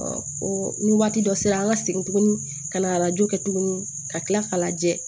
ni waati dɔ sera an ka segin tuguni ka na arajo kɛ tuguni ka kila k'a lajɛ